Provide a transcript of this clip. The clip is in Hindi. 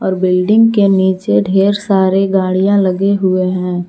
और बिल्डिंग के नीचे ढेर सारे गाड़िया लगे हुए हैं।